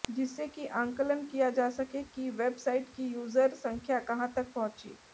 जिससे कि आंकलन किया जा सके कि वेब साइट की यूर्जर संख्या कहां तक पहुंची